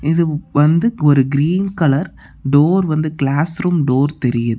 இது வந்து ஒரு கிரீன் கலர் டோர் வந்து கிளாஸ் ரூம் டோர் தெரியுது.